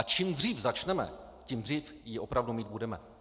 A čím dřív začneme, tím dřív ji opravdu mít budeme.